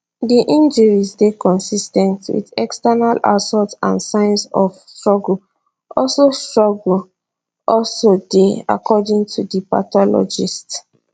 di injuries dey consis ten t wit external assault and signs of struggle also struggle also dey according to di pathologists